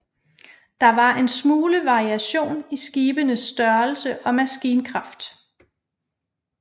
Der var en smule variation i skibenes størrelse og maskinkraft